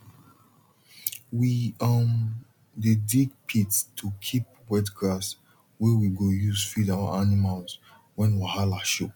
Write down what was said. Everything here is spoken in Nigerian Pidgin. we um dey dig pit to keep wet grass wey we go use feed our animals when wahala show